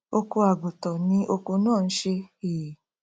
oko àgùntan ni oko náà n ṣe um